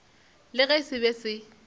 le ge se be se